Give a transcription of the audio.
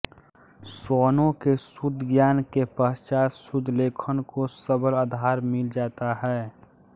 स्वनों के शुद्ध ज्ञान के पश्चात शुद्ध लेखन को सबल आधार मिल जाता है